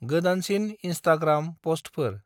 गोदाानसिन Instagram पस्टफोर।